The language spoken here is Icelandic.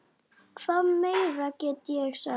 Hvað meira get ég sagt?